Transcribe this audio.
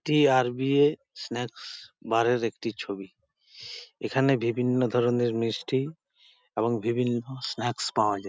একটি R .B .A snacks bar -এর একটি ছবি এখানে বিভিন্ন ধরনের মিষ্টি এবং বিভিন্ন স্ন্যাকস পাওয়া যায়।